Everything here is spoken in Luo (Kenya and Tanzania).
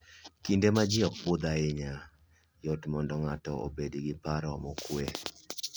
Kinde ma ji ok budh ahinya, yot mondo ng'ato obed gi paro mokuwe.